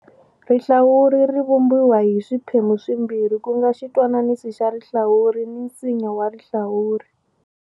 Rihlawuri ri vumbiwa hi swiphemu swimbirhi ku nga xitwananisi xa rihlawuri ni nsinya wa rihlawuri.